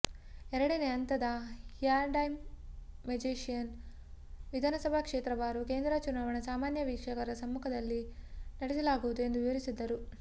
ಎರಡನೆಯ ಹಂತದ ರ್ಯಾಂಡಮೈಜೇಶನ್ ವಿಧಾನಸಭಾ ಕ್ಷೇತ್ರವಾರು ಕೇಂದ್ರ ಚುನಾವಣಾ ಸಾಮಾನ್ಯ ವೀಕ್ಷಕರ ಸಮ್ಮುಖದಲ್ಲಿ ನಡೆಸಲಾಗುವುದು ಎಂದು ವಿವರಿಸಿದರು